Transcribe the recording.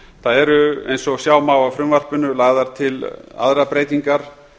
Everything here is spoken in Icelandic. það eru eins og sjá má af frumvarpinu lagðar til aðrar breytingar